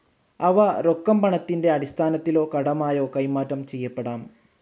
അവ രൊക്കം പണത്തിന്റെ അടിസ്ഥാനത്തിലോ കടമായോ കൈമാറ്റം ചെയ്യപ്പെടാം.